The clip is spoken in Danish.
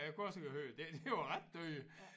Jeg kunne også høre det det var ret dyrt